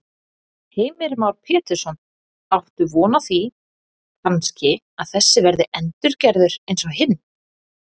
Heimir Már Pétursson: Áttu von á því kannski að þessi verði endurgerð eins og hin?